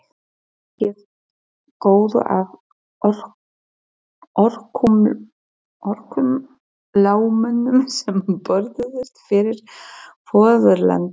Víkið góðu að örkumlamönnum sem börðust fyrir föðurlandið.